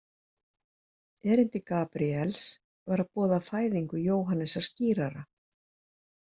Erindi Gabríels var að boða fæðingu Jóhannesar skírara.